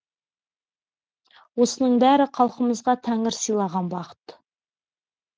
осының бәрі халқымызға тәңір сыйлаған бақыт